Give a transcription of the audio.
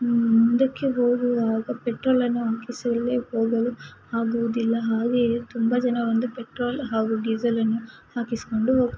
ನೀಡುತ್ತದೆ ಹಾಗು ಸುತ್ತ ಮುತ್ತಲು ಕಾರ್